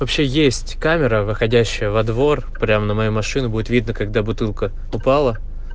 вообще есть камера выходящая во двор прямо на мою машину будет видно когда бутылка упала